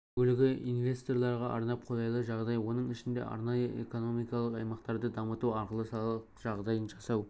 бөлігі инвесторларға арнап қолайлы жағдай оның ішінде арнайы экономикалық аймақтарды дамыту арқылы салық жағдайын жасау